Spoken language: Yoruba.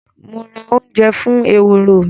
Mo ra ounje fún eworo mí